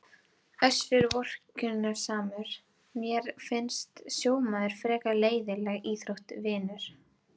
Össur vorkunnsamur: Mér finnst sjómaður frekar leiðinleg íþrótt vinur.